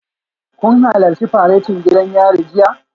Kun halarci faretin gidan yari jiya?